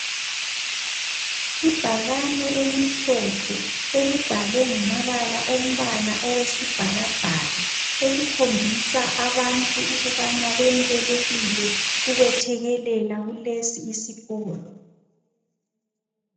Ibhakane elimhlophe elibhalwe ngamabala ombala owesibhakabhaka, elikhombisa abantu ukubana bemukelekile ukwethekelela kulesi isikolo.